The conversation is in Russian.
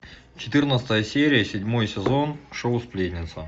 четырнадцатая серия седьмой сезон шоу сплетница